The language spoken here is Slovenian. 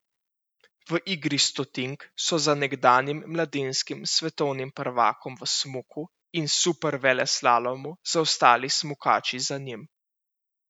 V igri stotink so za nekdanjim mladinskim svetovnim prvakom v smuku in superveleslalomu zaostali smukači za njim.